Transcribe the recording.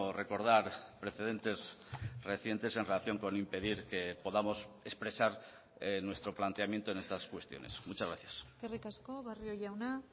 recordar precedentes recientes en relación con impedir que podamos expresar nuestro planteamiento en estas cuestiones muchas gracias eskerrik asko barrio jauna